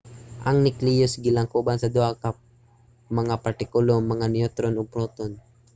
ang necleus gilangkoban sa duha ka mga partikulo - mga neutron ug proton